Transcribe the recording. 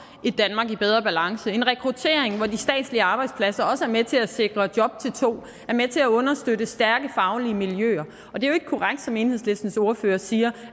et danmark i bedre balance en rekruttering hvor de statslige arbejdspladser også er med til at sikre job til to er med til at understøtte stærke faglige miljøer er jo ikke korrekt som enhedslistens ordfører siger